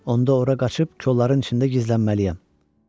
Onda ora qaçıb kolların içində gizlənməliyəm.